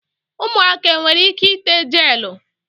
Umuaka enwere ike ite gelu?